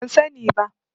Ban sani ba.